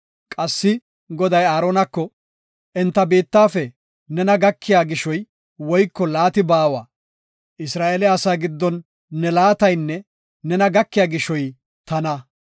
Qassika Goday Aaronako, “Enta biittafe nena gakiya gishoy woyko laati baawa; Isra7eele asaa giddon ne laataynne nena gakiya gishoy tana.”